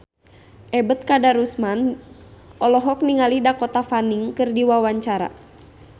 Ebet Kadarusman olohok ningali Dakota Fanning keur diwawancara